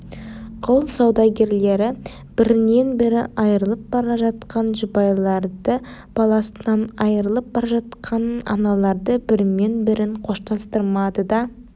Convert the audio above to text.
құл саудагерлері бірінен бірі айрылып бара жатқан жұбайларды баласынан айрылып бара жатқан аналарды бірімен бірін қоштастырмады да